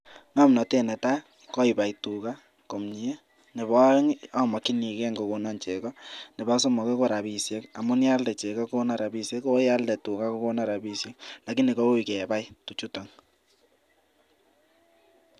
Ngomnotet ne tai ko ipai tuga komnye, nebo aeng, amakchinikei kokono chego, nebo somok ko rapishek amun yon kaalde chego kokonon rapishek, koyon kaalde tuga kokonon rapishek alakini koui kepae tugchuton.